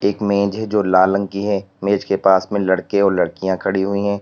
एक मेज है जो लाल रंग की है मेज के पास में लड़के और लड़कियां खड़ी हुई है।